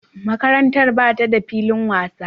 Makarantar ba ta da filin wasa.